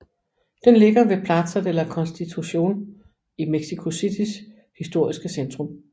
Den ligger ved Plaza de la Constitución i Mexico Citys historiske centrum